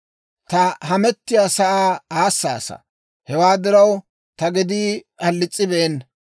Ta hamettiyaasaa aassaasa; hewaa diraw, ta gedii halis's'ibeena.